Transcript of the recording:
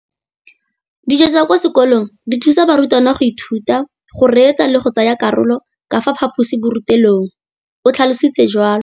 Dijo tsa kwa sekolong dithusa barutwana go ithuta, go reetsa le go tsaya karolo ka fa phaposiborutelong, o tlhalositse jalo.